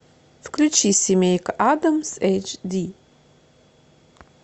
включи семейка адамс эйч ди